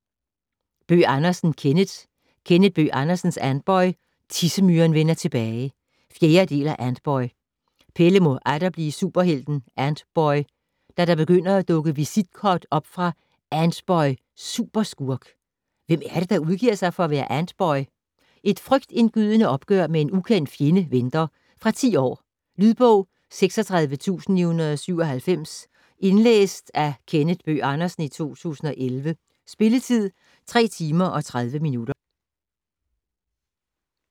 Bøgh Andersen, Kenneth: Kenneth Bøgh Andersens Antboy - Tissemyren vender tilbage 4. del af Antboy. Pelle må atter blive superhelten Antboy, da der begynder at dukke visitkort op fra "Antboy (superskurk)". Hvem er det, der udgiver sig for at være Antboy? Et frygtindgydende opgør med en ukendt fjende venter. Fra 10 år. Lydbog 36997 Indlæst af Kenneth Bøgh Andersen, 2011. Spilletid: 3 timer, 30 minutter.